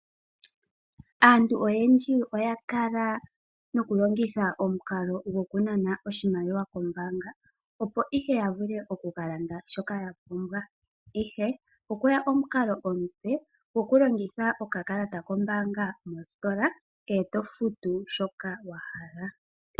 Aantu oyendji oya kala nokulongitha omukalo gwokunana oshimaliwa kombanga opo ihe ya vule oku ka landa shoka ya pumbwa ihe opweya omukalo omupe gwokulongitha okakalata kombanga mositola eto futu shoka wa hala.